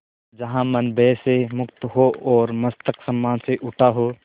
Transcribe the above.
जहाँ मन भय से मुक्त हो और मस्तक सम्मान से उठा हो